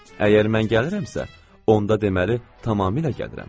Əgər mən gəlirəmsə, onda deməli, tamamilə gəlirəm.